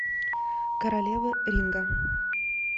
королевы ринга